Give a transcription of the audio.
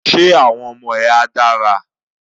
Ṣe àwọn ọmọ ẹ a dára?